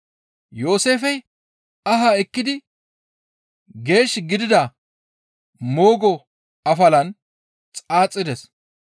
Yooseefey ahaa ekkidi geesh gidida moogo afalan xaaxides.